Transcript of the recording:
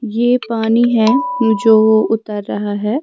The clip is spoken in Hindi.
ये पानी है जो उतर रहा है।